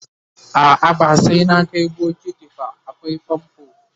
a'a ba sai na Kai bokiti ba akwai famfo